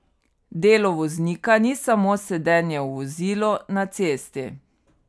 Delo voznika ni samo sedenje v vozilu na cesti.